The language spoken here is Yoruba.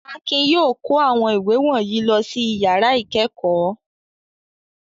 Akin yóò kó awon iwe wọ̀nyí lọ sí ìyàrá ìkẹ́kọ̀ọ́.